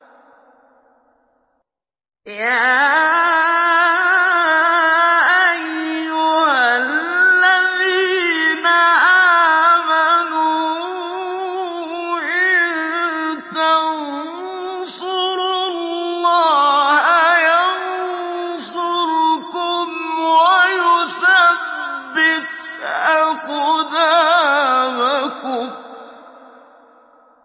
يَا أَيُّهَا الَّذِينَ آمَنُوا إِن تَنصُرُوا اللَّهَ يَنصُرْكُمْ وَيُثَبِّتْ أَقْدَامَكُمْ